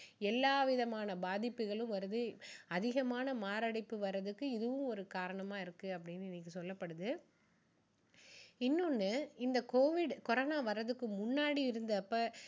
எல்லா விதமான பாதிப்புகளும் வருது அதிகமான மாரடைப்பு வர்றதுக்கு இதுவும் ஒரு காரணமா இருக்கு அப்படின்னு இன்னைக்கு சொல்லப்படுது இன்னொண்ணு இந்த COVID கொரோனா வர்றதுக்கு முன்னாடி இருந்தப்போ